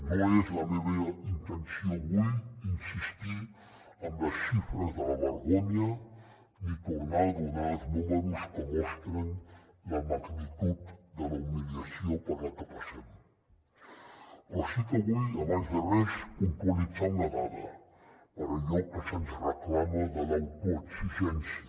no és la meva intenció avui insistir en les xifres de la vergonya ni tornar a donar els números que mostren la magnitud de la humiliació per la que passem però sí que vull abans de res puntualitzar una dada per allò que se’ns reclama de l’autoexigència